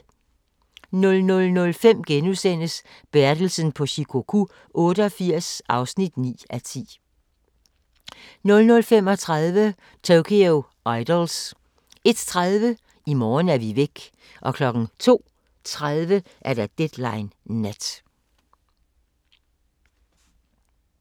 00:05: Bertelsen på Shikoku 88 (9:10)* 00:35: Tokyo Idols 01:30: I morgen er vi væk 02:30: Deadline Nat